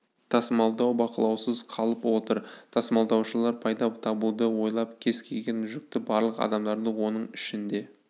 тасымалдау бақылаусыз қалып отыр тасымалдаушылар пайда табуды ойлап кез келген жүкті барлық адамдарды оның ішінде